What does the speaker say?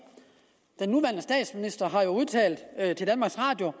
den nuværende statsminister har udtalt til danmarks radio